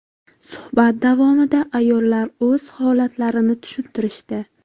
Suhbat davomida ayollar o‘z holatlarini tushuntirishdi.